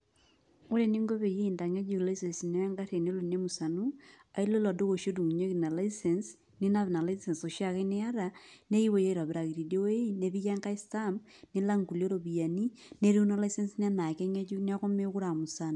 Ore eninko peyie intang'ejuk licence ino egarri enelo nemusanu, ailo ilo duka oshi odung'unyeki ina licence, ninap ina licence oshiake niata, nekipuoi aitobiraki tidie woi, nepiki enkae stamp, nilak nkulie ropiyiani, netiu ina licence ino enaa keng'ejuk neku mekure amusana.